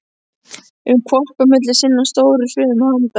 um hvolpi á milli sinna stóru hrumu handa.